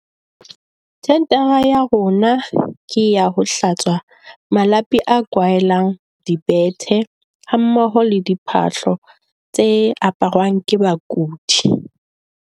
Tendara ya rona ke ya ho hlatswa malapi a kwaheleng dibethe, hammoho le diphahlo tse aparwang ke bakudi.